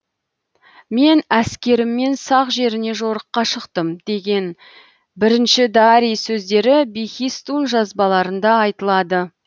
мен әскеріммен сақ жеріне жорыққа шықтым деген бірінші дарий сөздері бехистун жазбаларында айтылады